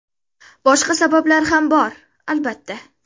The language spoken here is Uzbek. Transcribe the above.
Boshqa sabablar ham bor, albatta.